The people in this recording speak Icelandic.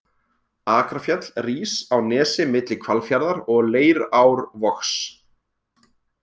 Akrafjall rís á nesi milli Hvalfjarðar og Leirárvogs.